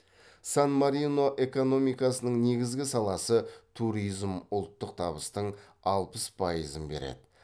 сан марино экономикасының негізгі саласы туризм ұлттық табыстың алпыс пайызын береді